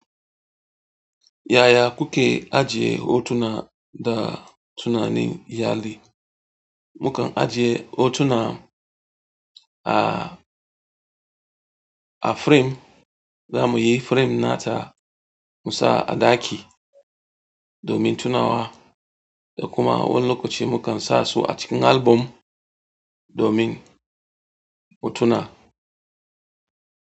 Yaya kuke ajiye hotuna da tunanin iyali? Mu kan ajiye hotuna a, a firem, zamuyi firem nata mu sa a ɗaki domin tunawa da kuma wani lokaci mu kan sa su a cikin album domin mu tuna.